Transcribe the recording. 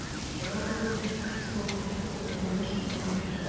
Jæja, Baldvin, sagði hann,-ég vona að þú sért mettur.